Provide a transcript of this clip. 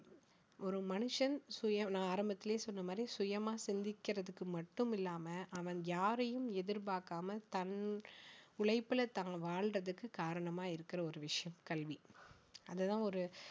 ஒரு மனுஷன் சுய~ நான் ஆரம்பத்திலேயே சொன்ன மாதிரி சுயமா சிந்திக்கிறதுக்கு மட்டும் இல்லாம அவன் யாரையும் எதிர்பார்க்காம தன் உழைப்புல தான் வாழ்வதற்கு காரணமா இருக்கிற ஒரு விஷயம் கல்வி அதை தான் ஒரு